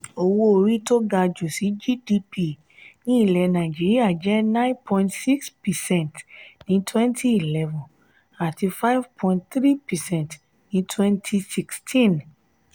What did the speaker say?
owó orí tó ga jù sí gdp ní nàìjíríà jẹ nine point six percent ní twenty eleven àti five point three percent ní twenty sixteen.